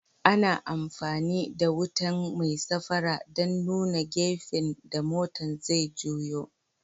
Ana amfani da wutan mai safara dan nuna gafen da motan zai juyo.